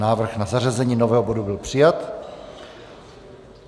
Návrh na zařazení nového bodu byl přijat.